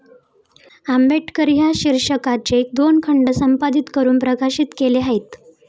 आंबेडकर ' या शीर्षकाचे दोन खंड संपादित करून प्रकाशित केले आहेत.